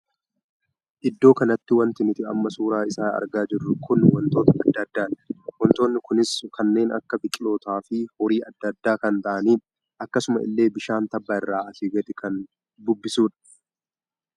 Iddoo kanatti wanti nuti amma suuraa isaa argaa jirru kun wantoota addaa addaati. wantootni kunis kanneen akka biqiloota fi horii addaa addaa kan taa'anidha. akkasuma illee bishaan tabba irraa asi gad kan bubbisuudha.